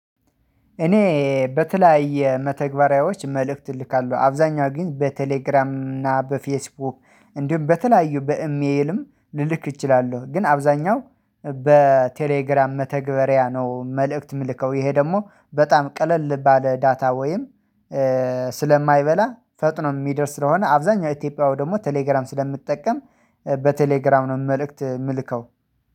እኔ በተለያየ መተግበሪያዎች መልእክት እልካለሁ አብዛኛው ግን በቴሌግራም እና በፌስቡክ እንዲሁም በተለያዩ በኢሜልም ልልክ እችላለሁ ግን አብዛኛው በቴሌግራም መተግበሪያ ነው መልእክት የምልከው ይሄ ደግሞ በጣም ቀለል ባለ ዳታ ወይም ስለማይበላ ፈጥኖ የሚደርስ ስለሆነ አብዛኛው ኢትዮጵያዊ ደግሞ ቴሌግራም ስለምትጠቀም በቴሌግራም ነው መልእክት የምልከው።